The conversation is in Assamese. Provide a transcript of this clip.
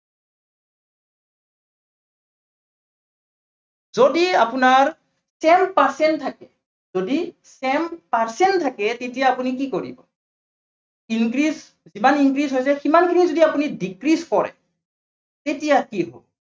যদি আপোনাৰ, sent percent থাকে, যদি sent percent থাকে তেতিয়া আপুনি কি কৰিব increase কিমান increase সিমানখিনি যদি আপুনি decrease কৰে তেতিয়া কি হব?